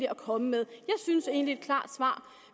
at komme med jeg synes egentlig at et klart svar